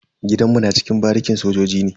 Gidanmu na cikin barikin sojoji ne.